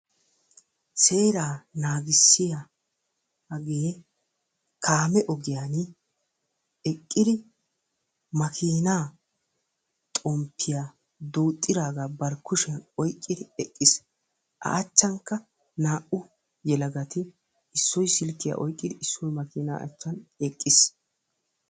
Seera naagissiyaage kaame ogiyaan eqqidi makina xomppiya duuxxiraagaa bari kushiyaan oyqqidi eqqiis. a achchankka naa'u yelagati issoy silkkiya oyqqidi issoy makina achchan eqqiis.